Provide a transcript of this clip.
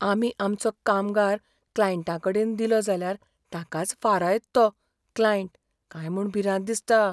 आमी आमचो कामगार क्लायंटाकडेन दिलो जाल्यार ताकाच फारायत तो क्लायंट काय म्हूण भिरांत दिसता.